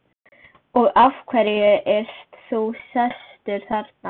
Og af hverju ert þú sestur þarna?